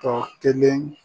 Tɔ kelen